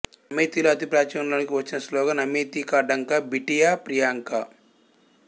అమేథీలో అతి ప్రాచుర్యం లోణికి వచ్చిన స్లోగన్ అమేథీ కా ఢంకా బిటియా ప్రియాంకా